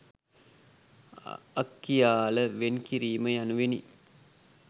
අක්කියාල වෙන් කිරීම යනුවෙනි.